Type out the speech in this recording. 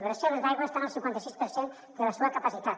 les reserves d’aigua estan al cinquanta sis per cent de la seua capacitat